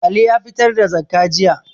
Ali ya fitar da zakkah jiya